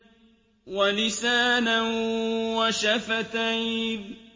وَلِسَانًا وَشَفَتَيْنِ